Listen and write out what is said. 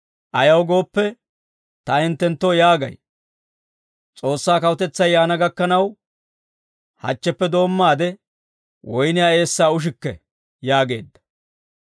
Ayaw gooppe, ta hinttenttoo yaagay, S'oossaa Kawutetsay yaana gakkanaw, hachcheppe doommaade woyniyaa eessaa ushikke» yaageedda.